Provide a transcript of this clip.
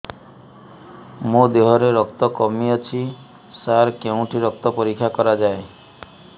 ମୋ ଦିହରେ ରକ୍ତ କମି ଅଛି ସାର କେଉଁଠି ରକ୍ତ ପରୀକ୍ଷା କରାଯାଏ